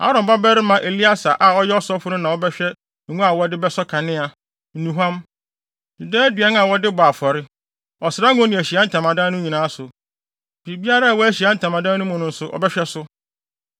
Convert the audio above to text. “Aaron babarima Eleasar a ɔyɛ ɔsɔfo no na ɔbɛhwɛ ngo a wɔde bɛsɔ kanea, nnuhuam, daa aduan a wɔde bɔ afɔre, ɔsra ngo ne Ahyiae Ntamadan no nyinaa so. Biribiara a ɛwɔ Ahyiae Ntamadan no mu no nso, ɔbɛhwɛ so.”